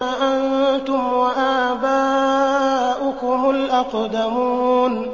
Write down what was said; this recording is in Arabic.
أَنتُمْ وَآبَاؤُكُمُ الْأَقْدَمُونَ